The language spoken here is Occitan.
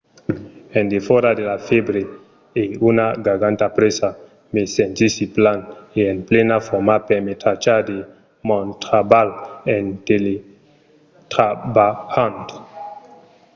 en defòra de la fèbre e una garganta presa me sentissi plan e en plena forma per me trachar de mon trabalh en teletrabalhant